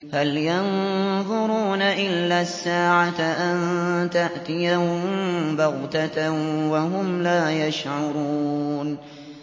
هَلْ يَنظُرُونَ إِلَّا السَّاعَةَ أَن تَأْتِيَهُم بَغْتَةً وَهُمْ لَا يَشْعُرُونَ